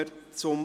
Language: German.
2018.RRGR.463;